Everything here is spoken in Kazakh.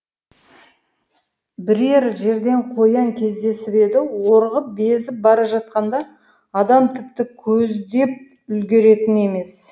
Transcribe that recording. бірер жерден қоян кездесіп еді орғып безіп бара жатқанда адам тіпті көздеп үлгеретін емес